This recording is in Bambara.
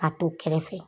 A to kɛrɛfɛ